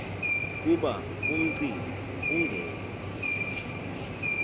kuba umcimbi ungene